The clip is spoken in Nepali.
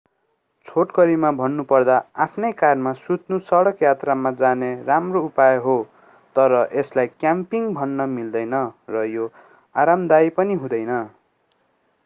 छोटकरीमा भन्नुपर्दा आफ्नै कारमा सुत्नु सडक यात्रामा जाने राम्रो उपाय हो तर यसलाई क्याम्पिङ भन्न मिल्दैन र यो आरामदायी पनि हुँदैन